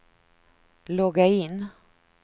logga in